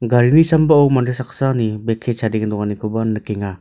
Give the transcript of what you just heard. gari sambao mande saksani bek kee chadenge donganikoba nikenga.